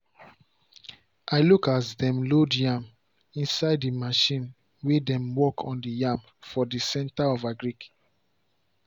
i look as dem load yam inside the machine way dem work on the yam for the center for agric.